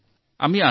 নিশ্চয় ৰাখো ছাৰ